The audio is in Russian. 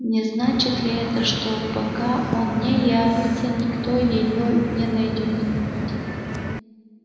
не значит ли это что пока он не явится никто её не найдёт